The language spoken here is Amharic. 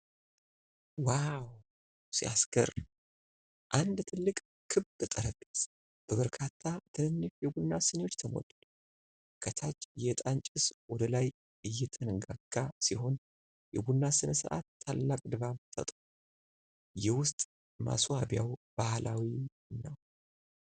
ዋው ሲያስገርም! አንድ ትልቅ ክብ ጠረጴዛ በበርካታ ትንንሽ የቡና ስኒዎች ተሞልቷል። ከታች የዕጣን ጭስ ወደ ላይ እየተንጋጋ ሲሆን የቡና ሥነ ሥርዓት ታላቅ ድባብ ፈጥሯል። የውስጥ ማስዋቢያው ባህላዊ ነው።